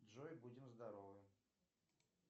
джой будем здоровы